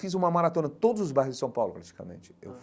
Fiz uma maratona em todos os bairros de São Paulo, praticamente eu.